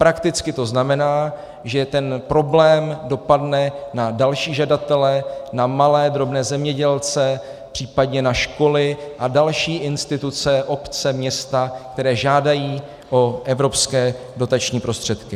Prakticky to znamená, že ten problém dopadne na další žadatele, na malé drobné zemědělce, případně na školy a další instituce, obce, města, které žádají o evropské dotační prostředky.